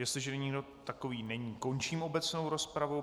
Jestliže nikdo takový není, končím obecnou rozpravu.